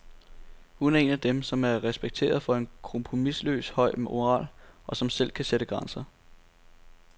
Hun er en af dem, som er respekteret for en kompromisløs høj moral, og som selv kan sætte grænser.